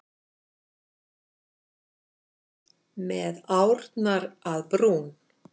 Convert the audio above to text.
Með árnar að brún.